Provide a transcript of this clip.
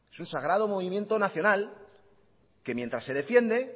es un sagrado movimiento nacional que mientras se defiende